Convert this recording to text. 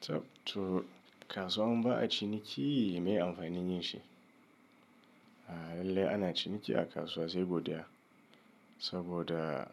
Tab to, kasuwan ba'a ciniki me amfanin yinshi. A'a lallai ana ciniki a kasuwa sai godiya, saboda